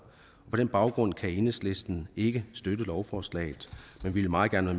på den baggrund kan enhedslisten ikke støtte lovforslaget men vi vil meget gerne